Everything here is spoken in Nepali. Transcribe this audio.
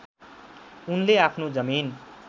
उनले आफ्नो जमिन